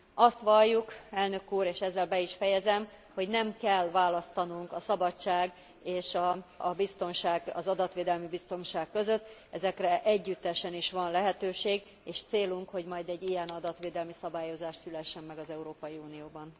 Azt valljuk, Elnök úr, és ezzel be is fejezem, hogy nem kell választanunk a szabadság és a biztonság, az adatvédelmi biztonság között, ezekre együttesen is van lehetőség, és célunk, hogy majd egy ilyen adatvédelmi szabályozás szülessen meg az Európai Unióban.